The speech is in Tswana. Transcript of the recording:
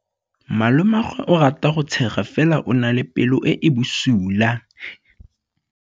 Malomagwe o rata go tshega fela o na le pelo e e bosula.